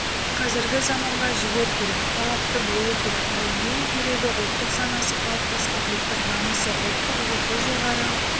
қазіргі заманға жігер керек талапты болу керек ал ең керегі ұлттық санасы қалыптасқан ұлттық намысы ұлттық рухы жоғары